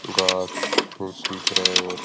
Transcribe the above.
घास बहुत सूंदर है और --